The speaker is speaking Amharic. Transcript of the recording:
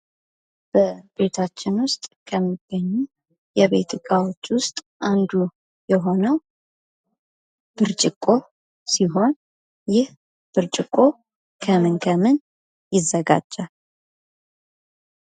በቤታችን ውስጥ ከሚገኙ የቤት እቃዎች ውስጥ አንዱ የሆነው ብርጭቆ ሲሆን ይህ ጭርጭቆ ከምን ከምን ይዘጋጃል ?